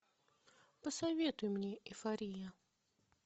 посоветуй мне эйфория